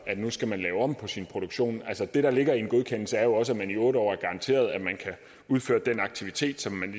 man nu skal lave om på sin produktion altså det der ligger i en godkendelse er jo også at man i otte år ligesom er garanteret at man kan udføre den aktivitet